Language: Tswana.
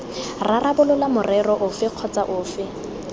rarabolola morero ofe kgotsa ofe